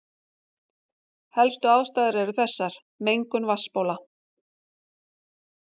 Helstu ástæður eru þessar: Mengun vatnsbóla.